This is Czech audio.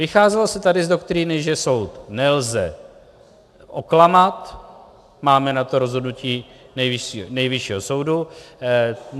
Vycházelo se tady z doktríny, že soud nelze oklamat, máme na to rozhodnutí Nejvyššího soudu.